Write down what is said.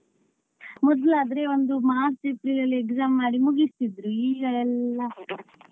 ಮೊದ್ಲಾದ್ರೆ ಒಂದು ಮಾರ್ಚ್ ಅಲ್ಲಿ exam ಮಾಡಿ ಮುಗಿಸ್ತಿದ್ರು ಈಗ ಎಲ್ಲಾ.